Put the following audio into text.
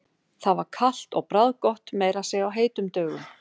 Það var kalt og bragðgott, meira að segja á heitum dögum.